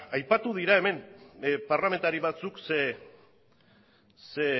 aipatu dira hemen parlamentari batzuk zein